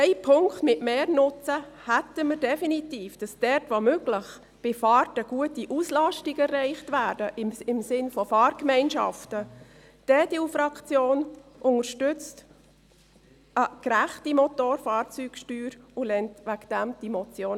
Einen Punkt mit mehr Nutzen hätten wir definitiv, nämlich dort, wo es möglich ist und im Sinne von Fahrgemeinschaften bei Fahrten eine gute Auslastung erreicht wird.